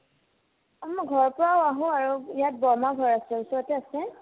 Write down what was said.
অ, মই ঘৰৰ পৰাও আহো আৰু ইয়াত বৰমাৰ ঘৰ আছে ওচৰতে আছে